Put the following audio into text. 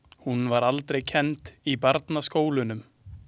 Hún var aldrei kennd í barnaskólunum.